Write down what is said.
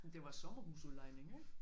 Men det var sommerhusudlejning ikke